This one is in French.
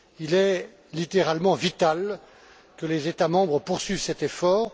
Il est littéralement vital que les États membres poursuivent cet effort.